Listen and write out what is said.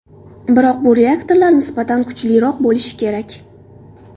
Biroq bu reaktorlar nisbatan kuchliroq bo‘lishi kerak.